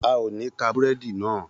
A ò ní ka búrẹ́dì náà